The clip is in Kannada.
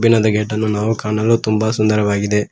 ಇಲ್ಲೊಂದು ಗೇಟನ್ನು ಕಾಣಲು ನಾವು ತುಂಬ ಸುಂದರವಾಗಿದೆ.